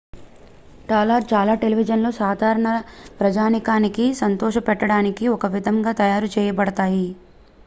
చాలా టెలివిజన్లు సాధారణ ప్రజానీకానికి సంతోషపెట్టడానికి ఒక విధంగా తయారు చేయబడతాయి